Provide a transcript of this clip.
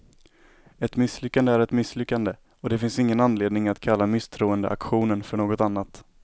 Ett misslyckande är ett misslyckande, och det finns ingen anledning att kalla misstroendeaktionen för något annat.